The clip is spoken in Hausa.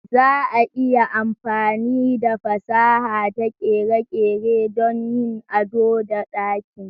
Za a iya amfani da fasaha da kere-kere don yin ado da ɗakin.